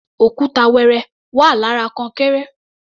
Òkúta wẹrẹ wà lára kọnkéré.